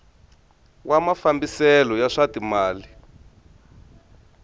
wa mafambiselo ya swa timal